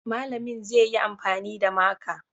Malamin zai yi amfani da maka